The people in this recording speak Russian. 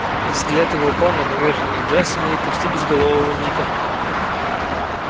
взгляд его упал на поверженных джастина и почти безголового ника